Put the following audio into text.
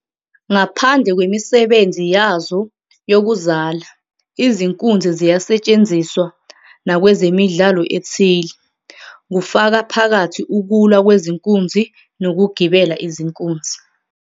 Ngaphandle kwemisebenzi yazo yokuzala, izinkunzi ziyasetshenziswa nakwezemidlalo ethile, kufaka phakathi ukulwa kwezinkunzi nokugibela izinkunzi.